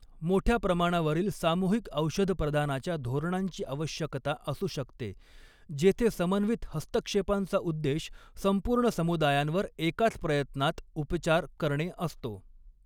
मोठ्या प्रमाणावरील सामूहिक औषध प्रदानाच्या धोरणांची आवश्यकता असू शकते, जेथे समन्वित हस्तक्षेपांचा उद्देश संपूर्ण समुदायांवर एकाच प्रयत्नात उपचार करणे असतो.